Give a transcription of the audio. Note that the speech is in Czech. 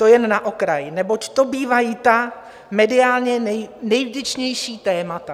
To jen na okraj, neboť to bývají ta mediálně nejvděčnější témata.